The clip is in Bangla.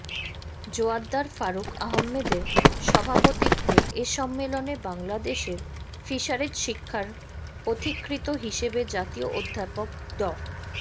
জোয়ার্দ্দার ফারুক আহমেদের সভাপতিত্বে এ সম্মেলনে বাংলাদেশের ফিশারিজ শিক্ষার পথিকৃৎ হিসেবে জাতীয় অধ্যাপক ড